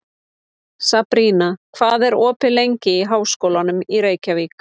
Sabrína, hvað er opið lengi í Háskólanum í Reykjavík?